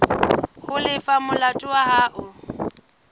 ho lefa molato wa hao